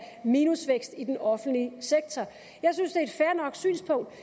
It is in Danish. minusvækst i den offentlige sektor jeg synes synspunktet